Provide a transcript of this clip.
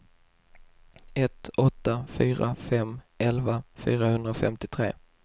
ett åtta fyra fem elva fyrahundrafemtiotre